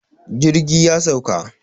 jirgi ya sauka